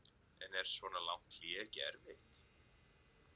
En er svona langt hlé ekki erfitt?